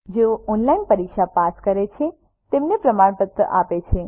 જેઓ ઓનલાઇન પરીક્ષા પાસ કરે છે તેમને પ્રમાણપત્ર આપે છે